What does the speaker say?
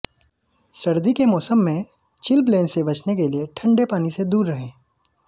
सर्दी के मौसम में चिलब्लेन से बचने के लिए ठंडे पानी से दूर रहें